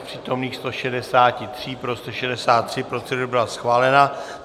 Z přítomných 163 pro 163, procedura byla schválena.